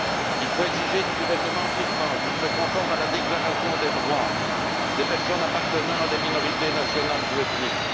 Il faut exiger du gouvernement birman qu'il se conforme à la déclaration des droits des personnes appartenant à des minorités nationales ou ethniques.